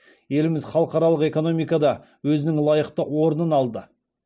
еліміз халықаралық экономикада өзінің лайықты орнын алды